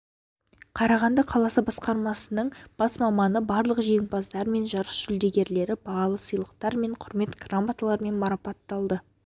қарағанды қаласы басқармасының бас маманы барлық жеңімпаздар мен жарыс жүлдегерлері бағалы сыйлықтар және құрмет грамоталарымен марапатталды